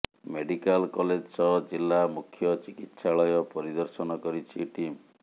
medical college ସହ ଜିଲ୍ଲା ମୁଖ୍ୟ ଚିକିତ୍ସାଳୟ ପରିଦର୍ଶନ କରିଛି ଟିମ